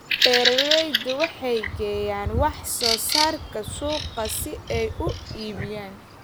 Beeraleydu waxay geeyaan wax soo saarka suuqa si ay u iibiyaan.